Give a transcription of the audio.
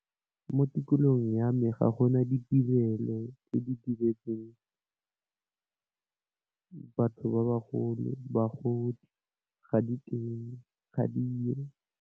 Mo tikologong ya me ga gona ditirelo tse di diretsweng batho ba bagolo bagodi ga diteng, ga diyo.